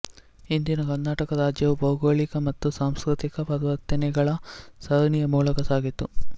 ಇಂದಿನ ಕರ್ನಾಟಕ ರಾಜ್ಯವು ಭೌಗೋಳಿಕ ಮತ್ತು ಸಾಂಸ್ಕೃತಿಕ ಪರಿವರ್ತನೆಗಳ ಸರಣಿಯ ಮೂಲಕ ಸಾಗಿತು